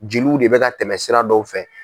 Jeliw de bɛ ka tɛmɛ sira dɔw fɛ.